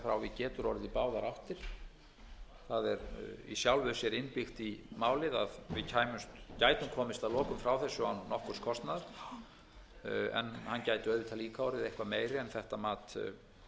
getur þá orðið í báðar áttir það er í sjálfu sér innbyggt í málið að við gætum komist að lokum frá þessu án nokkurs kostnaðar en hann gæti auðvitað líka orðið eitthvað meiri en þetta mat samninganefndarinnar